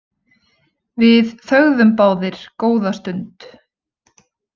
Við þögðum báðir góða stund.